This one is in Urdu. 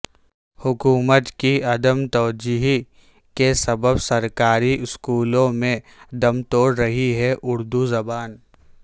حکومت کی عدم توجہی کے سبب سرکاری اسکولوں میں دم توڑ رہی ہے اردو زبان